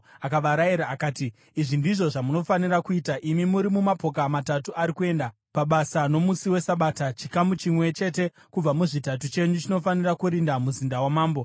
Akavarayira akati, “Izvi ndizvo zvamunofanira kuita: Imi muri mumapoka matatu ari kuenda pabasa nomusi weSabata, chikamu chimwe chete kubva muzvitatu chenyu chinofanira kurinda muzinda wamambo,